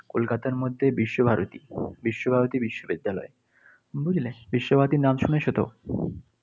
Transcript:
কলকাতার মধ্যে বিশ্বভারতী, বিশ্বভারতী বিশ্ববিদ্যালয়। বুঝলে? বিশ্বভারতীর নাম শুনেছো তো?